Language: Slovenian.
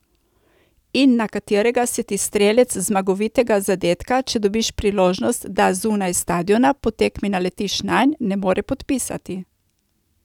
In na katerega se ti strelec zmagovitega zadetka, če dobiš priložnost, da zunaj stadiona po tekmi naletiš nanj, ne more podpisati.